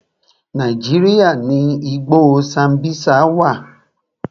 Nàíjíríà ni igbó Sambisa wà.